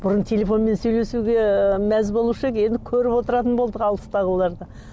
бұрын телефонмен сөйлесуге мәз болушы едік енді көріп отыратын болдық алыстағыларды